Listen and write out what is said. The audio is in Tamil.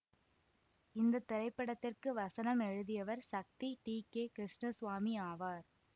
இந்த திரைப்படத்திற்கு வசனம் எழுதியவர் சக்தி டி கே கிருஷ்ணசுவாமி ஆவார்